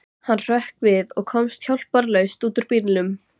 Hann hrökk við og komst hjálparlaust út úr bílnum.